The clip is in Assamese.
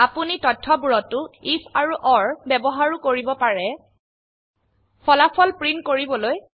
আপোনি তথয়বোৰতো আইএফ আৰু অৰ ব্যবহাৰও কৰিব পাৰে ফলাফল প্ৰিন্ট কৰিবলৈ